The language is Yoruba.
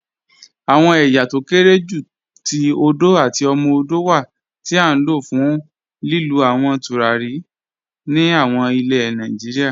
Awọn èyá tó kéré jù tó òdò àti òmò-òdò wà ti a n lọ̀ fún lílú àwọn tùràrí ní àwọn ilẹ̀ Nàìjíríà.